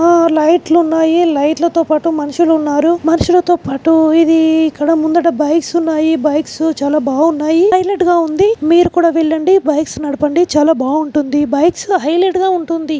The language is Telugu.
ఆ లైట్లు ఉన్నాయి లైట్లు తో పాటు మనుషులు ఉన్నారు. మనుషులతో పాటు ఇది ఇక్కడ ముందట బైక్స్ ఉన్నాయి. బైక్స్ చాలా బాగున్నాయి హైలెట్ గా ఉంది మీరు కూడా వెళ్ళండి బైక్స్ నడపండి చాలా బాగుంటుంది బైక్స్ హైలెట్ గా ఉంటుంది.